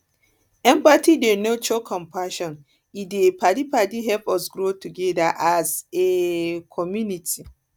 empathy dey nurture compassion e dey um help us grow together as a um community